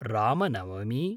Ramnavami